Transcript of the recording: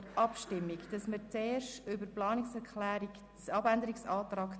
Zuerst stimmen wir über die Planungserklärung 2 ab.